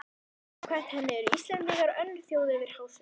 Samkvæmt henni eru Íslendingar önnur þjóð yfir hásumar